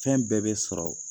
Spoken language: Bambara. Fɛn bɛɛ bɛ sɔrɔ